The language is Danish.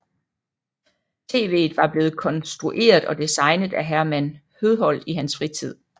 TVet var blevet konstrueret og designet af Herman Høedholt i hans fritid